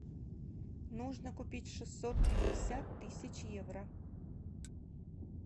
нужно купить шестьсот пятьдесят тысяч евро